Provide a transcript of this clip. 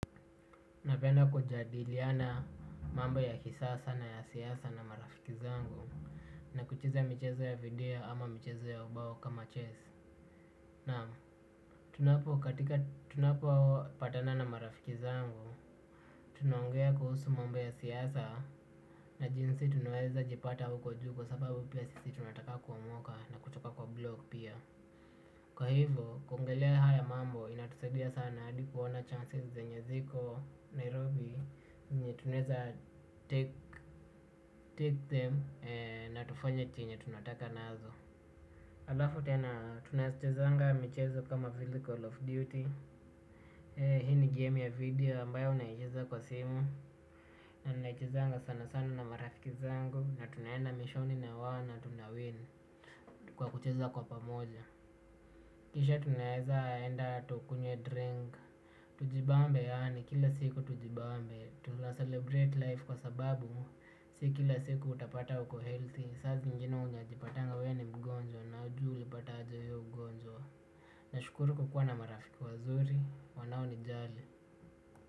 Napenda kujadiliana mambo ya kisasa na ya siasa na marafiki zangu na kucheza michezo ya video ama michezo ya ubao kama chess. Naam, tunapo patana na marafiki zangu, tunaongea kuhusu mambo ya siasa na jinsi tunaweza jipata huko juu kwa sababu pia sisi tunataka kuomoka na kutoka kwa block pia. Kwa hivyo, kuongelea haya mambo inatusadia sana hadi kuona chances zenye ziko Nairobi Zenye tunaeza take them na tufanye chenye tunataka nazo. Alafu tena tunachezanga michezo kama vile Call of Duty. Hii ni game ya video ambayo unaicheza kwa simu. Unaichezanga sana sana na marafiki zako na tunaenda mission na wao na tunawin kwa kucheza kwa pamoja. Kisha tunaeza enda tukunywe drink. Tujibambe yaani kila siku tujibambe. Tuna celebrate life kwa sababu si kila siku utapata uko healthy saa zingine unajipatanga wewe ni mgonjwa na hujui ulipata aje hio ugonjwa. Nashukuru kukua na marafiki wazuri wanao nijali.